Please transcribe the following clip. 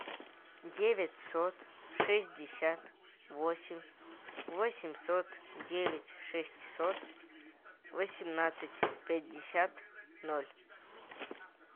девятьсот шестьдесят восемь восемьсот девять шестьсот восемнадцать пятьдесят ноль